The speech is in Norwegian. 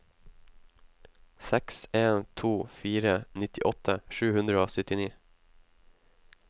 seks en to fire nittiåtte sju hundre og syttini